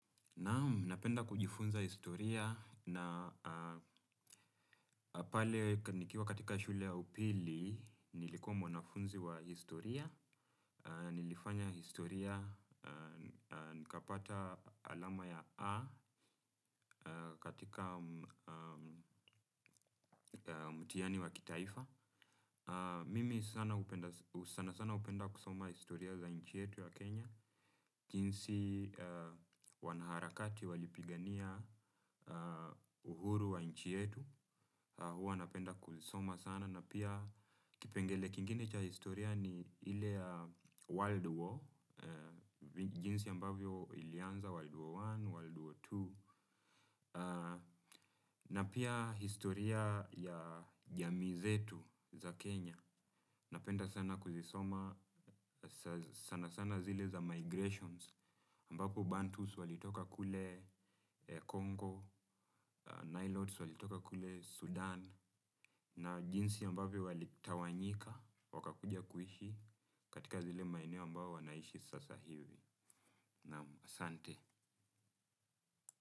Napenda kujifunza historia na pale nikiwa katika shule ya upili nilikuwa mwanafunzi wa historia, nilifanya historia, nikapata alama ya A katika mtihani wa kitaifa. Mimi sana sana hupenda kusoma historia za nchi yetu ya Kenya. Jinsi wanaharakati walipigania uhuru wa nchi yetu. Huwa napenda kuisoma sana na pia kipengele kingine cha historia ni ile ya world war. Jinsi ambavyo ilianza world war one, world war two na pia historia ya jamii zetu za Kenya. Napenda sana kuzisoma sana sana zile za migrations ambapo Bantus walitoka kule Congo, Nilotes walitoka kule Sudan na jinsi ambavyo walitawanyika wakakuja kuishi katika zile maeneo ambao wanaishi sasa hivi. Naam asante.